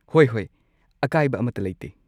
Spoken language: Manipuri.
ꯍꯣꯏ ꯍꯣꯏ! ꯑꯀꯥꯏꯕ ꯑꯃꯠꯇ ꯂꯩꯇꯦ꯫